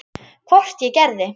Hvort ég gerði.